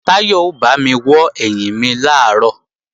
Táyọ̀ ó bámi wọ́ ẹ̀yìn mi làárọ̀